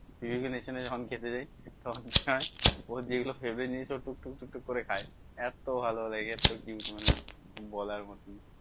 যখন খেতে যাই তখন কি হয় ওর যে গুলো favorite জিনিস ও টুক টুক টুক টুক করে খায় এত ভালো লাগে এর থেকে কি বলবো মানে বলার মতন